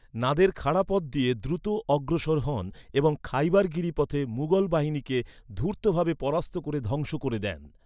নাদের খাড়া পথ দিয়ে দ্রুত অগ্রসর হন এবং খাইবার গিরিপথে মুঘল বাহিনীকে ধূর্তভাবে পরাস্ত করে ধ্বংস করে দেন।